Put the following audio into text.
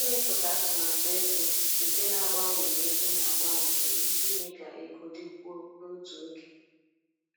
Ịmepụta atụmatụ ego nke na-agbanwe mgbe ego na-agbanwe nwere ike ime ka ego dịkwuo n’otu oge.